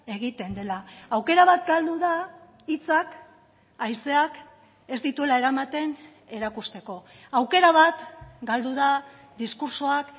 egiten dela aukera bat galdu da hitzak haizeak ez dituela eramaten erakusteko aukera bat galdu da diskurtsoak